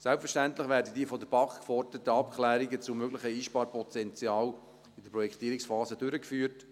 Selbstverständlich werden die von der BaK geforderten Abklärungen zum möglichen Einsparungspotenzial in der Projektierungsphase durchgeführt.